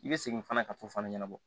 I bɛ segin fana ka t'o fana ɲɛnabɔ